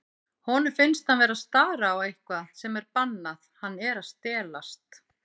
Honum finnst hann vera að stara á eitthvað sem er bannað, hann er að stelast.